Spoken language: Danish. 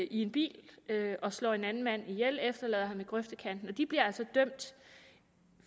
i en bil og slår en anden mand ihjel og efterlader ham i grøftekanten de bliver altså dømt